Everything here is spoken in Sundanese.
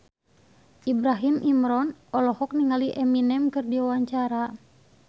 Ibrahim Imran olohok ningali Eminem keur diwawancara